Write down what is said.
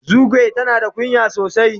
Zugwai tana da kunya sosai.